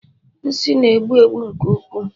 nsị na-egbu egbu nke ukwuu